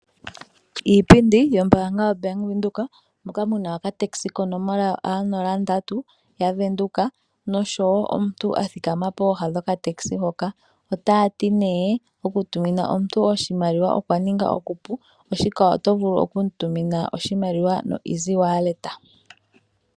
Iipindi yombanga yoBank Windhoek moka mu na okatakisa konomola yoA03 yaVenduka noshowo omuntu a thikama pooha dhokatakisa hoka notaya ti okutumina omuntu oshimaliwa okwa ninga okupu oshoka oto vulu okumu tumina iimaliwa noEasy Wallet.